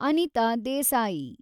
Anita Desai